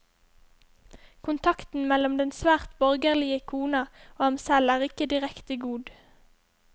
Kontakten mellom den svært borgerlige kona og ham selv er ikke direkte god.